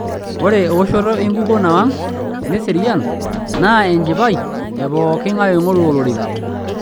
Ore ewoto enkukuo nawang' neserian naa enchipai e pooking'ae oingoru olorika.